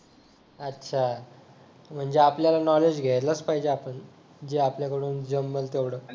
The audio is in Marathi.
अच्छा म्हणजे आपल्याला नॉलेज घ्यायलाच पाहिजे आपण जे आपल्याकडून जमेल तेवढं